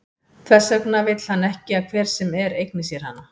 Þess vegna vill hann ekki að hver sem er eigni sér hana.